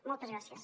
moltes gràcies